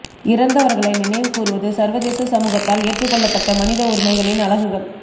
இறந்தவர்களை நினைவு கூருவது சர்வதேச சமூகத்தால் ஏற்றுக் கொள்ளப்பட்ட மனித உரிமைகளின் அலகுகள்